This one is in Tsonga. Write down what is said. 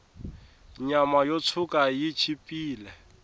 nyama yo tshwuka yi chipile